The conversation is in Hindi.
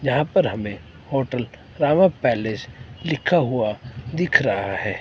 यहां पर हमें होटल रामा पैलेस लिखा हुआ दिख रहा है।